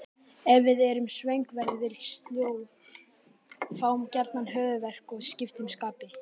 Ef við erum svöng verðum við sljó, fáum gjarnan höfuðverk og skiptum skapi.